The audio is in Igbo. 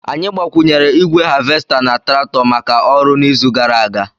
Anyị gbakwụnyere igwe havesta na traktọ maka ọrụ n'izu gara aga